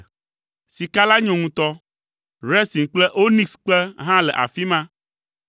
(Sika la nyo ŋutɔ. Resin kple onikskpe hã le afi ma.)